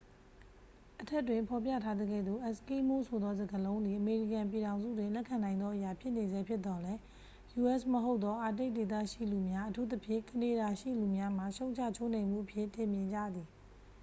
"အထက်တွင်ဖော်ပြထားသကဲ့သို့၊ "အက်စကီးမိုး" ဆိုသောစကားလုံးသည် အမေရိကန်ပြည်ထောင်စုတွင် လက်ခံနိုင်သောအရာ ဖြစ်နေဆဲဖြစ်သော်လည်း၊ u.s. မဟုတ်သော အာတိတ်ဒေသရှိလူများ၊ အထူးသဖြင့် ကနေဒါရှိလူများမှ ရှုံ့ချချိုးနှိမ်မှုအဖြစ် ထင်မြင်ကြသည်။